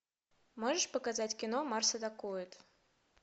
можешь показать кино марс атакует